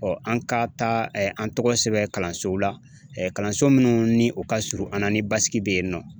an ka taa an tɔgɔ sɛbɛn kalansow la kalanso minnu ni o ka surun an na ni basigi bɛ yen nɔ.